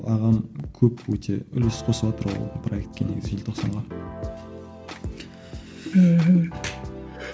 ағам көп өте үлес қосыватыр ол проектіге негізі желтоқсанға мхм